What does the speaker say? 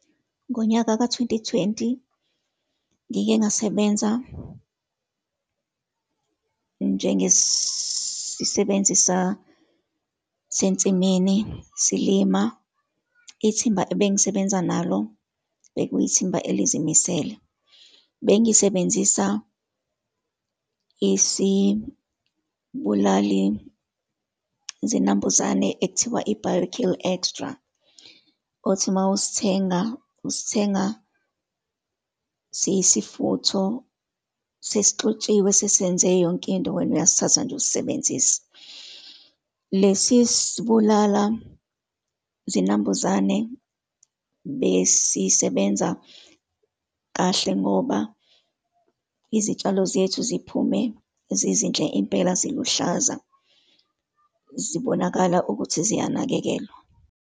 Ngonyaka ka-twenty twenty, ngike ngasebenza njengesisebenzi sasensimini, silima. Ithimba ebengisebenza nalo, bekuyithimba elizimisele. Bengisebenzisa isibulali zinambuzane ekuthiwa i-Bio Kill Extra, othi uma usithenga, usithenga siyisifutho sesixutshiwe, sesenzwe yonkinto, wena uyasithatha nje usisebenzise. Lesi sibulala zinambuzane besisebenza kahle ngoba izitshalo zethu ziphume zizinhle impela, ziluhlaza, zibonakala ukuthi ziyanakekelwa.